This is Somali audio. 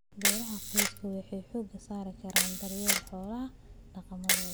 Beeraha qoysku waxay xooga saari karaan daryeelka xoolaha dhaqamadooda.